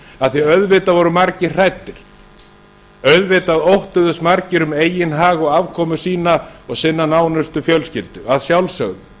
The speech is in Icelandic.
af því að auðvitað voru margir hræddir auðvitað óttuðust margir um eigin hag og afkomu sína og sinnar nánustu fjölskyldu að sjálfsögðu